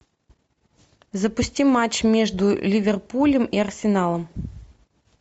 запусти матч между ливерпулем и арсеналом